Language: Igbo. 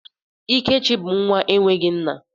Ikechi bụ nwa enweghị nna.